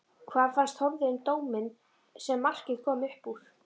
Hvað fannst Þórði um dóminn sem markið kom upp úr?